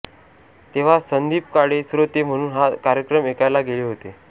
तेव्हा संदीप काळे श्रोते म्हणून हा कार्यक्रम ऐकायला गेले होते